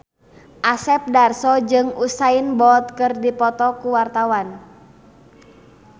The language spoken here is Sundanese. Asep Darso jeung Usain Bolt keur dipoto ku wartawan